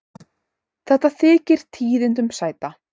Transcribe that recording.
Þetta þykir tíðindum sæta.